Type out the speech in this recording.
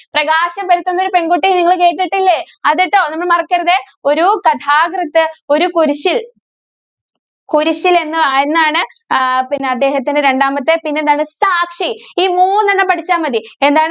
പ്രകാശം പരത്തുന്ന ഒരു പെണ്‍കുട്ടി നിങ്ങള് കേട്ടിട്ടില്ലേ? അതേട്ടോ നമ്മള് മറക്കരുതേ. ഒരു കഥാകൃത്ത്‌ ഒരു കുരിശ്ശില്‍, കുരിശ്ശില്‍ എന്ന് എന്നാണ് ആഹ് പിന്നെ അദ്ദേഹത്തിന്‍റെ രണ്ടാമത്തെ പിന്നെ എന്താണ് സാക്ഷി. ഈ മൂന്നെണ്ണം പഠിച്ചാ മതി. എന്താണ്